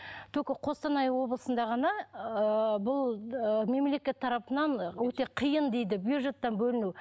только қостанай облысында ғана ыыы бұл ы мемлекет тарапынан өте қиын дейді бюджеттен бөліну